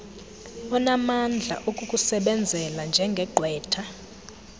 onamandla okukusebenzela njengegqwetha